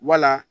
Wala